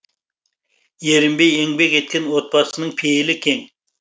ерінбей еңбек еткен отбасының пейілі кең